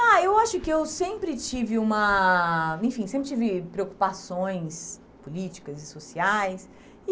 Ah, eu acho que eu sempre tive uma, enfim, sempre tive preocupações políticas e sociais.